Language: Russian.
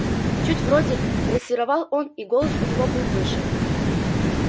чуть вроде грассировал он и голос у него был выше